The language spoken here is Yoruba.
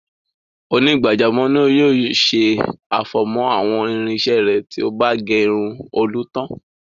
Onígbàjámọ̀ náà yóò ṣe àfọ̀mọ́ àwọn irinṣẹ́ rẹ̀ tí ó bá gé irun Olú tán.